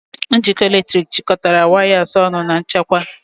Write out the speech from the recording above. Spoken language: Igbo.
Njikọ eletrik jikọtara wires ọnụ na nchekwa.